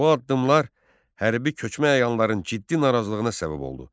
Bu addımlar hərbi köçmə əyanların ciddi narazılığına səbəb oldu.